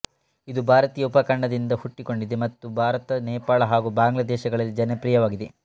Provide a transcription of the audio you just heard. ಇದು ಭಾರತೀಯ ಉಪಖಂಡದಿಂದ ಹುಟ್ಟಿಕೊಂಡಿದೆ ಮತ್ತು ಭಾರತ ನೇಪಾಳ ಹಾಗೂ ಬಾಂಗ್ಲಾದೇಶಗಳಲ್ಲಿ ಜನಪ್ರಿಯವಾಗಿದೆ